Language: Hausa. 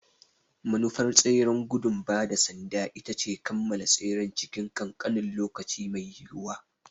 Manufar tseren gudun ba da sanda ita ce a kammala tseren cikin ƙanƙanin lokaci mai yiwuwa.